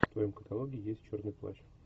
в твоем каталоге есть черный плащ